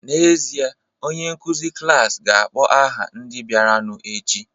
N'ezie, onye nkụzi klas ga-akpọ aha ndị bịaranụ echi